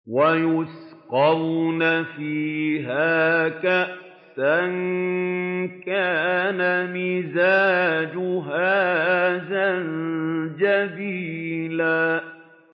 وَيُسْقَوْنَ فِيهَا كَأْسًا كَانَ مِزَاجُهَا زَنجَبِيلًا